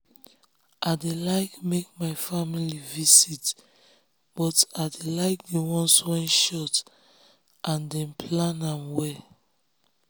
i dey like make my family visit but i dey like the ones wey short and dem plan am well.